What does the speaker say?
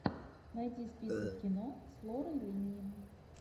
найди список кино с лорой линни